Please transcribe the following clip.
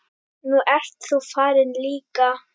Nú ert þú farin líka.